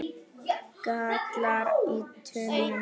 gallar í tönnum